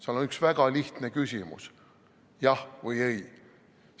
Seal on üks väga lihtne küsimus: jah või ei.